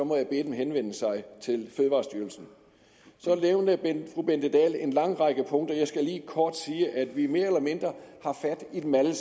må jeg bede dem henvende sig til fødevarestyrelsen så nævnte fru bente dahl en lang række punkter jeg skal lige kort sige at vi mere eller mindre har fat i dem alle